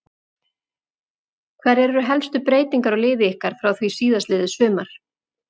Hverjar eru helstu breytingar á liði ykkar frá því síðastliðið sumar?